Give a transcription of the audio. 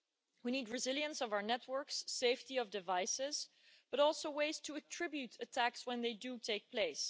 We need resilience of our networks, safety of devices, but also ways to attribute attacks when they do take place.